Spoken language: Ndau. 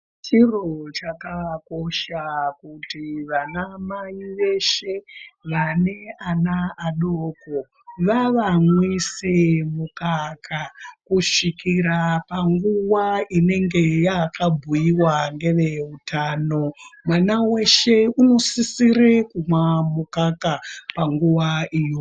Chiro chakakosha kuti vanamai veshe vane ana adoko vavamwise mukaka kusvikira punguwa inenge yakabhuiwa ngeveutano , mwana weshe inosisire kumwa mukaka panguwa iyo.